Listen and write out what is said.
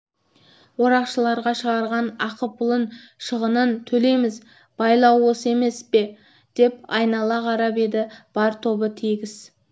орақшыларына шығарған ақы-пұлын шығынын төлейміз байлау осы емес пе деп айнала қарап еді бар тобы тегіс